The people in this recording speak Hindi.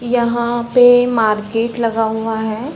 यहाँ पे मार्केट लगा हुआ है।